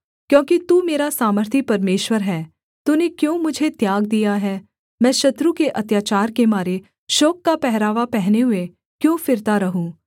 क्योंकि तू मेरा सामर्थी परमेश्वर है तूने क्यों मुझे त्याग दिया है मैं शत्रु के अत्याचार के मारे शोक का पहरावा पहने हुए क्यों फिरता रहूँ